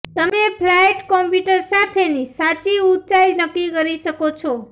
તમે flight computer સાથેની સાચી ઊંચાઇ નક્કી કરી શકો છો